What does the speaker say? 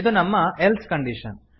ಇದು ನಮ್ಮ else condition